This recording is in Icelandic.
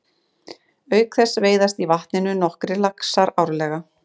Auk þess veiðast í vatninu nokkrir laxar árleg.